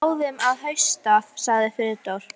Hann fer bráðum að hausta sagði Friðrik.